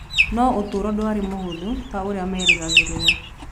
No ũtũũro ndwarĩ mũhũthũ ta ũrĩa meerĩgagĩrĩra.